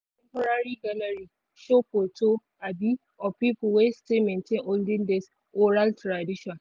one temporary gallery show photo um of people wey still maintain olden days oral tradition.